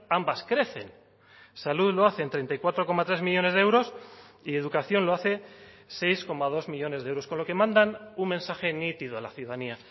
ambas crecen salud lo hace en treinta y cuatro coma tres millónes de euros y educación lo hace seis coma dos millónes de euros con lo que mandan un mensaje nítido a la ciudadanía